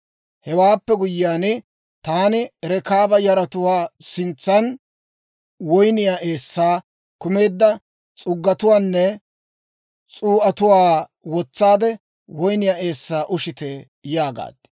Hewaappe guyyiyaan, taani Rekaaba yaratuwaa sintsan woyniyaa eessay kumeedda s'uggatuwaanne s'uu'atuwaa wotsaade, «Woynniyaa eessaa ushite» yaagaad.